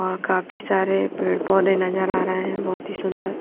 और काफी सारे पेड़ पौधे नजर आ रहे हैं बहोत ही सुंदर--